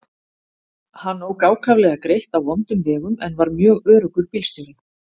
Hann ók ákaflega greitt á vondum vegum en var mjög öruggur bílstjóri.